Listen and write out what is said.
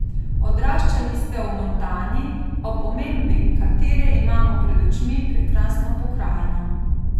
Odraščali ste v Montani, ob omembi katere imamo pred očmi prekrasno pokrajino.